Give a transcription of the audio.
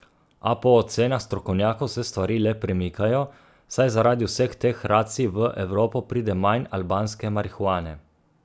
A po ocenah strokovnjakov se stvari le premikajo, saj zaradi vseh teh racij v Evropo pride manj albanske marihuane.